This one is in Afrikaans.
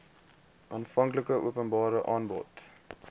aanvanklike openbare aanbod